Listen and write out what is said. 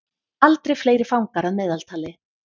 Aldrei fleiri fangar að meðaltali